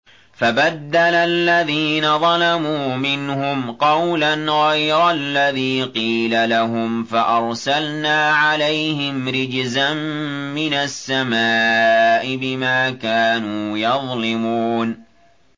فَبَدَّلَ الَّذِينَ ظَلَمُوا مِنْهُمْ قَوْلًا غَيْرَ الَّذِي قِيلَ لَهُمْ فَأَرْسَلْنَا عَلَيْهِمْ رِجْزًا مِّنَ السَّمَاءِ بِمَا كَانُوا يَظْلِمُونَ